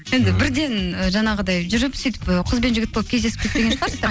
енді бірден ы жаңағыдай жүріп сөйтіп ы қыз бен жігіт болып кездесіп кетпеген шығарсыздар